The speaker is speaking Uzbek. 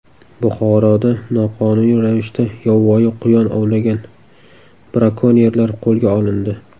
Buxoroda noqonuniy ravishda yovvoyi quyon ovlagan brakonyerlar qo‘lga olindi.